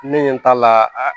Ne ɲɛ t'a la